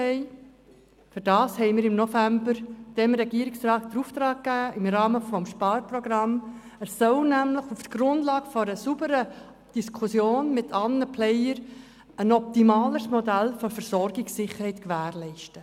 Wir haben im November dem Regierungsrat den Auftrag gegeben, im Rahmen des Sparprogramms auf der Grundlage einer sauberen Diskussion mit allen Akteuren ein optimaleres Modell für die Versorgungssicherheit zu erarbeiten.